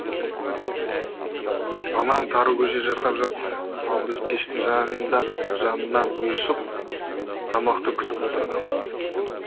анам тары көже жасап жатты ал біз пештің жанында жанынан ұйысып тамақты күтіп отырғанбыз